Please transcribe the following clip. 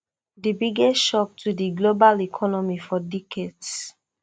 di biggest shock to di global economy for decades